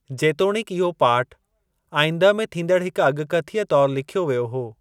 जेतोणिकि, इहो पाठ आईंदह में थींदड़ हिक अॻकथीअ तौरु लिख्यो वियो हो।